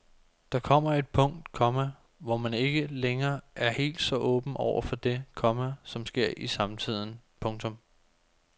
Der kommer et punkt, komma hvor man er ikke længere er helt så åben over for det, komma som sker i samtiden. punktum